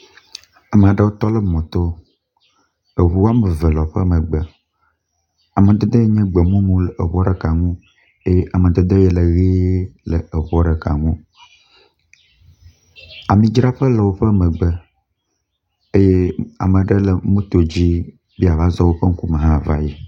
Ame aɖewo tɔ ɖe mɔto. Eŋu wɔme eve le woƒe megbe amadede nye gbemumu le eŋua ɖeka ŋu eye amadede le ʋi le eŋua ɖeka ŋu. amidzraƒe le woƒe megbe eye ame aɖe le moto dzi be yeava zɔ woƒe ŋkume ava yi.